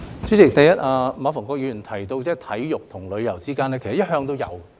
主席，馬逢國議員提到體育和旅遊之間的連結，其實一向也有。